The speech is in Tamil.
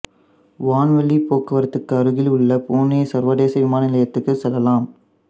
வான்வழிப் போக்குவரத்துக்கு அருகிலுள்ள புனே சர்வதேச விமான நிலையத்திற்கு செல்லலாம்